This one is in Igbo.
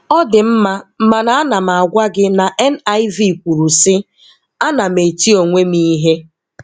Ọ dị mma mana a na m agwa gị na NIV kwuru sị, "Ana m eti onwe m ihe". "